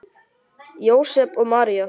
Jósep og María